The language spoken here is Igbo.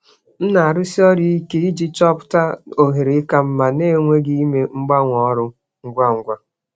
Ana m ejikọ aka nke ọma iji chọta ohere ka mma n'emeghị mgbanwe ọrụ ngwa ngwa.